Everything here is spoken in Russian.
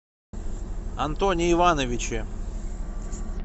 антоне ивановиче